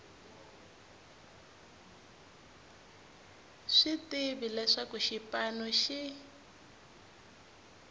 swi tiva leswaku xipano xi